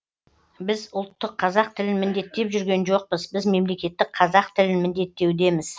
біз ұлттық қазақ тілін міндеттеп жүрген жоқпыз біз мемлекеттік қазақ тілін міндеттеудеміз